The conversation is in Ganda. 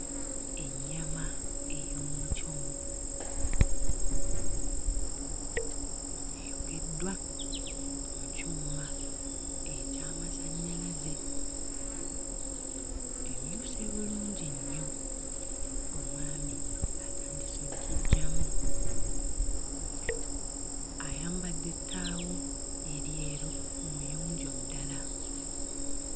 Ennyama ey'omukyomo eyokeddwa mu kyuma eky'amasannyalaze emyuse bulungi nnyo omwami atandise oggiggyamu ayambadde ettaawo eryeru muyonjo ddala.